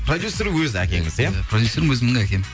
продюсер өзі әкеңіз иә продюсерім өзімнің әкем